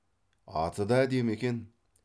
аты да әдемі екен